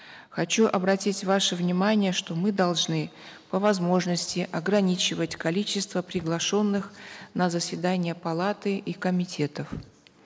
хочу обратить ваше внимание что мы должны по возможности ограничивать количество приглашенных на заседание палаты и комитетов